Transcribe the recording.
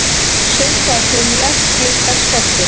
Sumt var kunnuglegt: Gluggar skelltust.